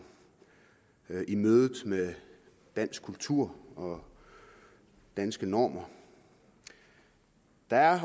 i mødet med dansk kultur og danske normer der er